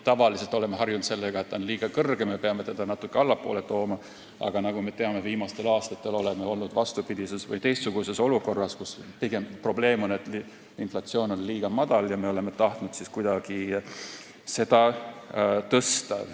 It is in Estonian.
Tavaliselt oleme harjunud sellega, et inflatsioonitase on liiga kõrge, me peame seda natukene allapoole tooma, aga nagu me teame, viimastel aastatel oleme euroalal olnud vastupidises olukorras, kus probleem on pigem see, et inflatsioon on liiga väike ja me oleme tahtnud seda kuidagi suurendada.